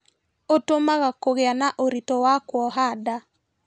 ũtũmaga kũgĩa na ũritũ wa kuoha nda